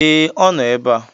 Ee, ọ nọ ebe a